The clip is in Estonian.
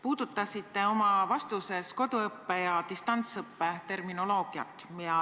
Puudutasite oma vastuses koduõppe ja distantsõppe terminoloogiat.